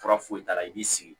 Fura foyi t'a la i b'i sigi